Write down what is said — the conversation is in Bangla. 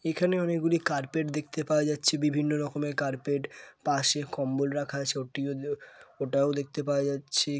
এখানে অনেকগুলি কার্পেট দেখতে পাওয়া যাচ্ছে বিভিন্ন রকমের কার্পেট পাশে কম্বল রাখা আছে ওটিও ওটাও দেখতে পাওয়া যাচ্ছে।